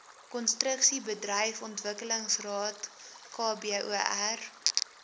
konstruksiebedryf ontwikkelingsraad kbor